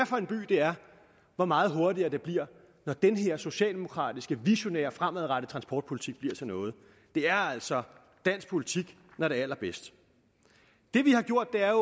for en by det er hvor meget hurtigere det bliver når den her socialdemokratiske visionære fremadrettede transportpolitik bliver til noget det er altså dansk politik når det er allerbedst det vi har gjort er